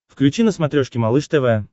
включи на смотрешке малыш тв